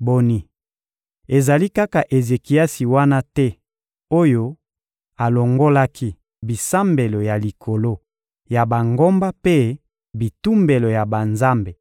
Boni, ezali kaka Ezekiasi wana te oyo alongolaki bisambelo ya likolo ya bangomba mpe bitumbelo ya banzambe